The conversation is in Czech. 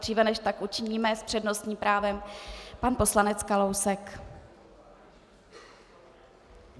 Dříve než tak učiníme, s přednostním právem pan poslanec Kalousek.